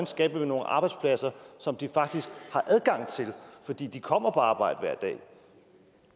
skaber nogle arbejdspladser som de faktisk har adgang til for de de kommer på arbejde hver dag